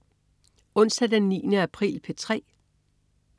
Onsdag den 9. april - P3: